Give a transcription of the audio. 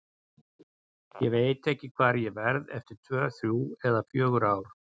Ég veit ekki hvar ég verð eftir tvö, þrjú eða fjögur ár.